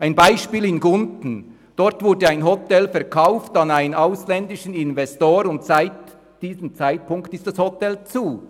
Ein Beispiel in Gunten: Dort wurde ein Hotel an einen ausländischen Investor verkauft, und seit diesem Zeitpunkt ist das Hotel geschlossen.